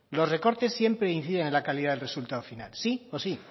los recortes siempre inciden en la calidad del resultado final sí o sí